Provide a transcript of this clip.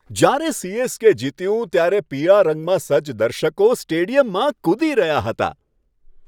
જ્યારે સી.એસ.કે. જીત્યું ત્યારે પીળા રંગમાં સજ્જ દર્શકો સ્ટેડિયમમાં કૂદી રહ્યા હતા.